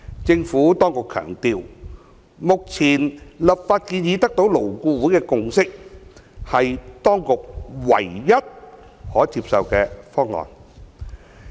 政府當局強調，目前的立法建議得到勞工顧問委員會的共識，是當局唯一可接受的方案。